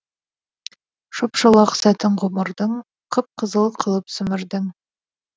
шоп шолақ сәтін ғұмырдың қып қызыл қылып сімірдің